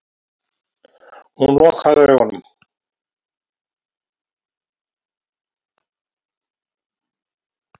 Hún lokaði augunum.